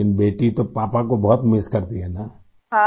لیکن بیٹی تو پاپا کو بہت مِس کرتی ہو نا ؟